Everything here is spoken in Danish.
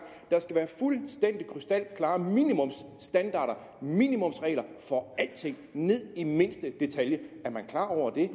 der skal være fuldstændig krystalklare minimumsstandarder minimumsregler for alting ned i mindste detalje er man klar over det er